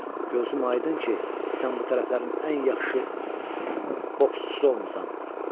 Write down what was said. Gözüm aydın ki, sən bu tərəflərin ən yaxşı boksçusu olmusan.